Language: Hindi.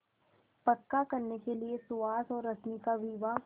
पक्का करने के लिए सुहास और रश्मि का विवाह